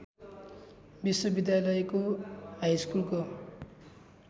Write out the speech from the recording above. विश्वविद्यालयको हाइस्कुलको